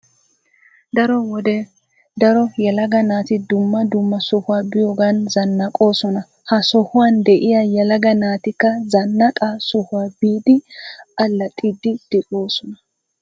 Daro wode daro yelaga naati dumma dumma sohuwa biyoggan zannaqqoosona . Ha sohuwan diya yelaga naatikka zannaqqaa sohuwa biidi allaxxiidi doosona.